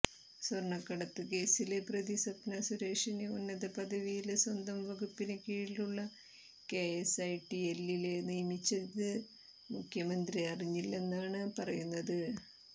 സ്വര്ണക്കടത്ത് കേസിലെ പ്രതി സ്വപ്നാ സുരേഷിനെ ഉന്നത പദവിയില് സ്വന്തം വകുപ്പിന് കീഴിലുള്ള കെഎസ്ഐടിഎല്ലില് നിയമിച്ചത് മുഖ്യമന്ത്രി അറിഞ്ഞില്ലെന്നാണ് പറയുന്നത്